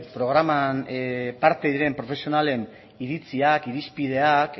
programan parte diren profesionalen iritziak irizpideak